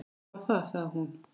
Hvað var það? sagði hún.